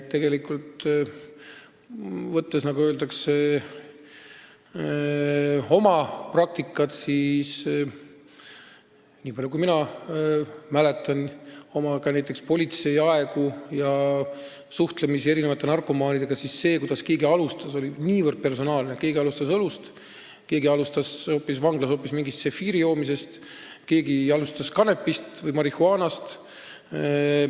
Tegelikult, niipalju kui mina mäletan näiteks oma politseiaegadest, kui ma suhtlesin narkomaanidega, siis see, kuidas keegi alustas, oli niivõrd personaalne: keegi alustas õllest, keegi alustas vanglas hoopis mingi tšefiiri joomisest, keegi alustas kanepist või marihuaanast.